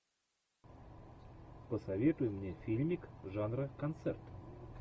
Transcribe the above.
посоветуй мне фильмик жанра концерт